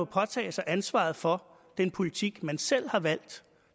påtage sig ansvaret for den politik man selv har valgt